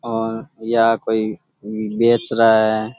और यहाँ कोई बेच रहा है।